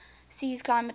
sea's climate offers